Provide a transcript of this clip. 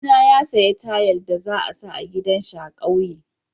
Kawuna ya saya tayal da za sa a gidan shi a'kauye.